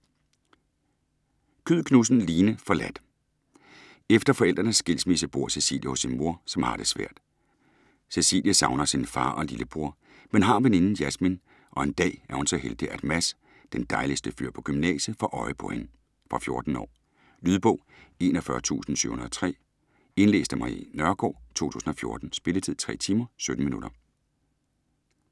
Kyed Knudsen, Line: Forladt Efter forældrenes skilsmisse bor Cecilie hos sin mor, som har det svært. Cecilie savner sin far og lillebror, men har veninden Jasmin, og en dag er hun så heldig at Mads, den dejligste fyr på gymnasiet, får øje på hende. Fra 14 år. Lydbog 41703 Indlæst af Marie Nørgaard, 2014. Spilletid: 3 timer, 17 minutter.